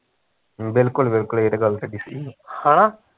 ਬਿਲਕੁਲ ਬਿਲਕੁਲ ਏਹ ਤੇ ਗੱਲ ਤੁਹਾਡੀ ਸਹੀਂ ਐ